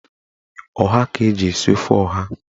Ọha ka eji esi ofe ọha.